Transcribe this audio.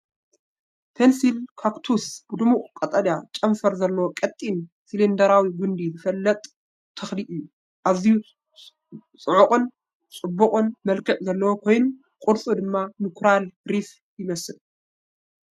ፐንሲል ካክቱስ ብድሙቕ ቀጠልያ፣ ጨንፈር ዘለዎ፣ ቀጢን፣ ሲሊንደራዊ ጕንዲ ዝፍለጥ ተኽሊ እዩ። ኣዝዩ ጽዑቕን ጽዑቕን መልክዕ ዘለዎ ኮይኑ፡ ቅርጹ ድማ ንኮራል ሪፍ ይመስል።